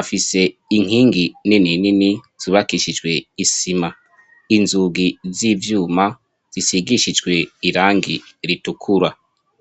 afise inkingi nini nini zubakishijwe isima inzugi z'ivyuma zisigishijwe irangi ritukura.